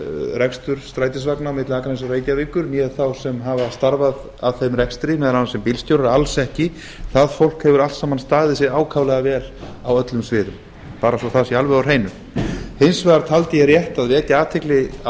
rekstur strætisvagna milli akraness og reykjavíkur né þá sem hafa starfað að þeim rekstri meðal annars sem bílstjórar alls ekki það fólk hefur allt saman staðið sig ákaflega vel á öllum sviðum bara svo það sé alveg á hreinu hins vegar taldi ég rétt að vekja athygli á